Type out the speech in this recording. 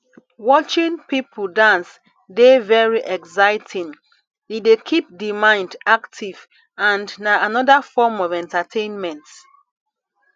watching people dance dey very exciting e dey keep di mind active and na anoda form of entertainment